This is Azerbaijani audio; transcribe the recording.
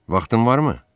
Vaxtın varmı?